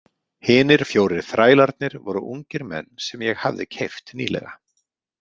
Hinir fjórir þrælarnir voru ungir menn sem ég hafði keypt nýlega.